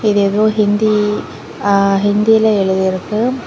இது ஏதோ ஹிந்தி அ ஹிந்தில எழுதிருக்கு.